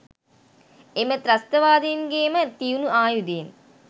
එම ත්‍රස්තවාදීන්ගේ ම තියුණු ආයුධයෙන්